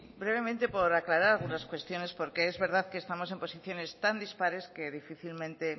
brevemente por aclarar algunas cuestiones porque es verdad que estamos en posiciones tan dispares que difícilmente